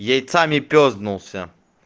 яйцами пёзднулся